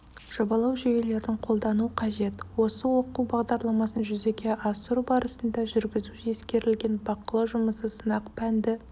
жобалау жүйелерін қолдану қажет осы оқу бағдарламасын жүзеге асыру барысында жүргізу ескерілген бақылау жұмысы сынақ пәнді